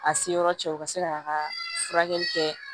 A se yɔrɔ cɛ u ka se k'a ka furakɛli kɛ